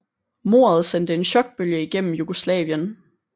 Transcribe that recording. Mordet sendte en chokbølge igennem Jugoslavien